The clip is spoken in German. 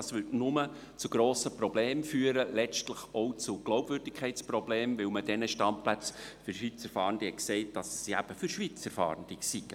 Dies führte nur zu grossen Problemen, letztlich auch zu Problemen der Glaubwürdigkeit, weil man von den Standplätzen für Schweizer Fahrende eben gesagt hat, sie seien für Schweizer Fahrende.